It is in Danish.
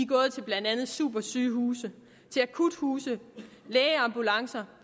gået til blandt andet supersygehuse akuthuse lægeambulancer